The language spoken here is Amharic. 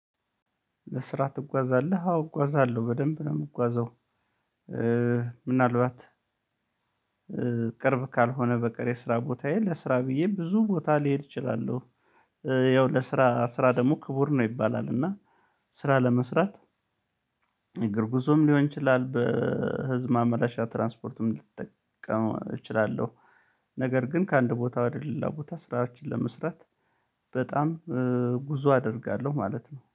ለስራ ትጓዛለህ አዎ እጓዛለሁ በደንብ ነው የምጓዘው። ምናልባት ቅርብ ካልሆነ በቀር የስራ ቦታዬ ለስራ ብዬ ብዙ ቦታ ሊሄድ እችላለሁ። ያው ለስራ ስራ ደግሞ ክቡር ነው ይባላል። እና ስራ ለመስራት የግርጉዞም ሊሆን ይችላል። በህዝብ ማመላሻ ትራንስፖርትም ልትጠቀም እችላለሁ። ነገር ግን ከአንድ ቦታ ወደ ሌላ ቦታ ስራዎችን ለመስራት በጣም ጉዞ አደርጋለሁ ማለት ነው